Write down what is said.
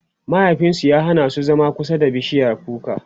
mahaifinsu ya Hana su zama kusa da bishiyar kuka